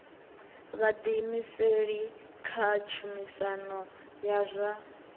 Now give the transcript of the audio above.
vhuḓiimiseli kha tshumisano ya zwa